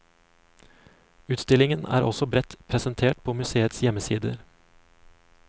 Utstillingen er også bredt presentert på museets hjemmesider.